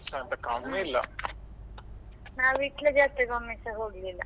ಅದುಸ ಏನ್ ಕಮ್ಮಿ ಇಲ್ಲ.